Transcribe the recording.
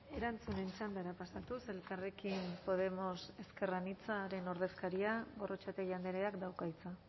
erantzunen txandara pasatuz elkarrekin podemos ezker anitzaren ordezkaria gorrotxategi andreak dauka hitza